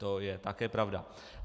To je také pravda.